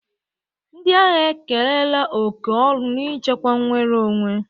Ndị agha ekerela oke ọrụ n'ichekwa nnwere onwe.